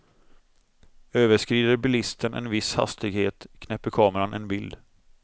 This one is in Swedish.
Överskrider bilisten en viss hastighet knäpper kameran en bild.